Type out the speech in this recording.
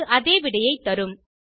அது அதே விடையைத் தரும்